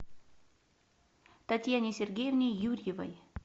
татьяне сергеевне юрьевой